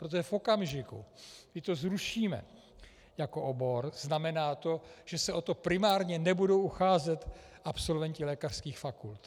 Protože v okamžiku, kdy to zrušíme jako obor, znamená to, že se o to primárně nebudou ucházet absolventi lékařských fakult.